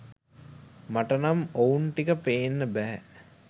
මට නම් ඔවුන් ටික පේන්න බැහැ